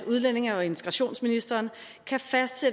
udlændinge og integrationsministeriet